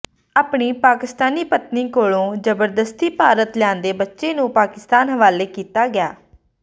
ਆਪਣੀ ਪਾਕਿਸਤਾਨੀ ਪਤਨੀ ਕੋਲੋਂ ਜ਼ਬਰਦਸਤੀ ਭਾਰਤ ਲਿਆਂਦੇ ਬੱਚੇ ਨੂੰ ਪਾਕਿਸਤਾਨ ਹਵਾਲੇ ਕੀਤਾ ਗਿਆ